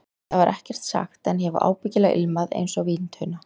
Það var ekkert sagt, en ég hef ábyggilega ilmað einsog víntunna.